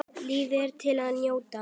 Lífið er til að njóta.